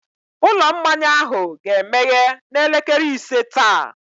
Ụlọ mmanya ahụ ga-emeghe n'elekere ise taa.